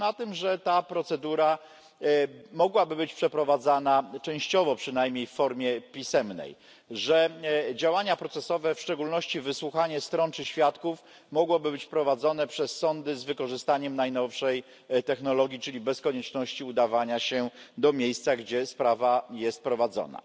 Otóż na tym, że ta procedura mogłaby być przeprowadzana częściowo przynajmniej w formie pisemnej, że działania procesowe, w szczególności wysłuchanie stron czy świadków, mogłyby być wprowadzone przez sądy z wykorzystaniem najnowszej technologii, czyli bez konieczności udawania się do miejsca, gdzie sprawa jest prowadzona.